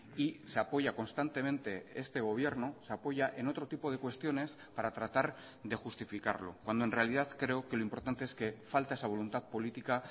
y se apoya constantemente este gobierno se apoya en otro tipo de cuestiones para tratar de justificarlo cuando en realidad creo que lo importante es que falta esa voluntad política